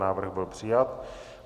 Návrh byl přijat.